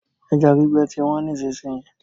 Ẹja gbígbẹ ti wọ́n nísìsiyìí.